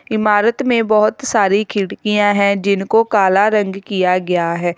इमारत में बहुत सारी खिड़कियां है जिनको काला रंग किया गया है।